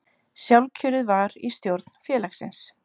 Sjálfkjörið var í stjórn félagsins